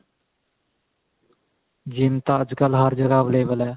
GYM ਤਾਂ ਅੱਜਕਲ ਹਰ ਜਗ੍ਹਾ available ਏ